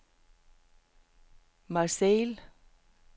Marseille